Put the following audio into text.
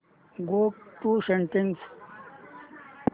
go to settings